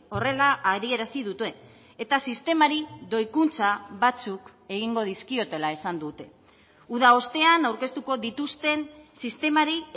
horrela adierazi dute eta sistemari doikuntza batzuk egingo dizkiotela esan dute uda ostean aurkeztuko dituzten sistemari